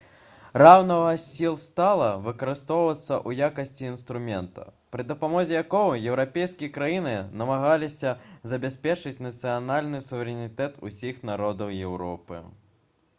раўнавага сіл стала выкарыстоўвацца ў якасці інструмента пры дапамозе якога еўрапейскія краіны намагаліся забяспечыць нацыянальны суверэнітэт усіх народаў еўропы